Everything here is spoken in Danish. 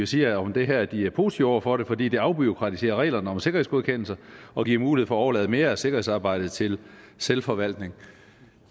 siger om det her at de er positive over for det fordi det afbureaukratiserer reglerne om sikkerhedsgodkendelser og giver mulighed overlade mere af sikkerhedsarbejdet til selvforvaltning